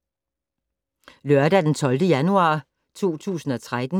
Lørdag d. 12. januar 2013